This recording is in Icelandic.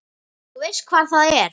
Þú veist hvar það er?